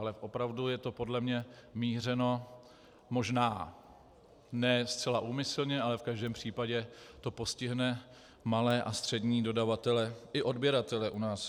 Ale opravdu je to podle mě mířeno možná ne zcela úmyslně, ale v každém případě to postihne malé a střední dodavatele i odběratele u nás.